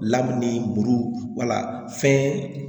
ni buru wala fɛn